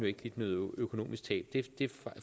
ikke lidt noget økonomisk tab det